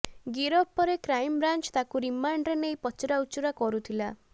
ଗିରଫ ପରେ crime branch ତାକୁ ରିମାଣ୍ଡରେ ନେଇ ପଚରାଉଚୁରା କରୁଥିଲା